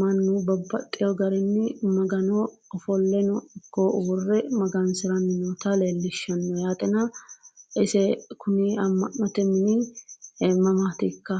mannu babbaxino garinni magano ufolleno ikko uurreno magasirannota leellishshanno yaatena ise kuni amma'note mini mamaatikka